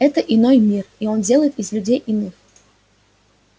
это иной мир и он делает из людей иных